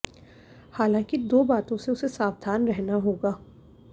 हालांकि दो बातों से उसे सावधान रहना होगा